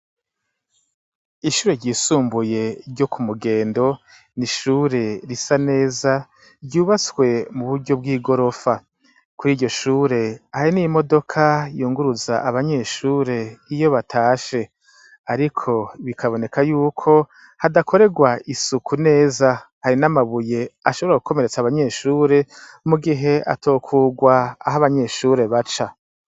Ishure ryisumbuye ryo ku Mugendo, n'ishure risa neza ryubatswe mu buryo bw'igorofa, kuri iryo shure hari n'imodoka yunguruza abanyeshure iyo batashe, ariko bikaboneka yuko hadakorerwa isuku neza, hari n'amabuye ashobora gukomeretsa abanyeshure mu gihe atokurwa aho abanyeshure baca.